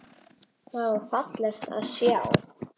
Það var fallegt að sjá.